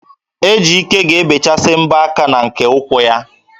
Ejike ga-ebechasị mbọ aka na nke ụkwụ ya